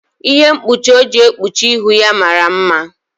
Ihe mkpuchi o ji kpuchie ihu ya mara mma.